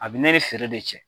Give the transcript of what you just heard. A bi ne feere de cɛ.